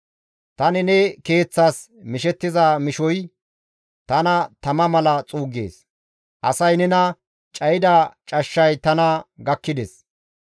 Tani ne keeththas mishettiza mishoy tana tama mala xuuggees; Asay nena cayida cashshay tana gakkides.